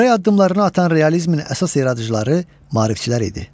Körpək addımlarını atan realizmin əsas yaradıcıları maarifçilər idi.